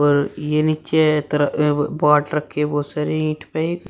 र ये नीचे तरह अं बाट रखे हैं बहोत सारे ईट पे।